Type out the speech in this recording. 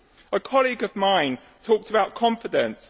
A colleague of mine talked about confidence.